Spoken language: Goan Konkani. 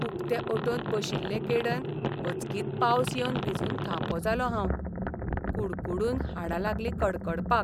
उकते ऑटोंत बशिल्लेकेडन अचकीत पावस येवन भिजून थापो जालों हांव. कुडकुडून हाडां लागलीं कडकडपाक.